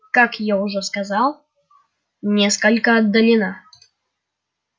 как я уже сказал несколько отдалена